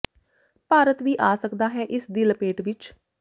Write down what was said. ਭਾਰਤ ਵੀ ਆ ਸਕਦਾ ਹੈ ਇਸ ਦੀ ਲਪੇਟ ਵਿਚ